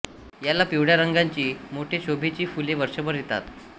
याला पिवळ्या रंगाची मोठी शोभेची फुले वर्षभर येतात